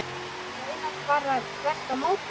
Raunar bara þvert á móti.